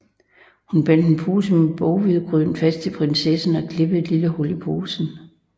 Hun bandt en pose med boghvedegryn fast til prinsessen og klippede et lille hul i posen